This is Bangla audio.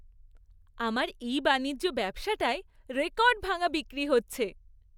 আমার ই বাণিজ্য ব্যবসাটায় রেকর্ড ভাঙা বিক্রি হচ্ছে।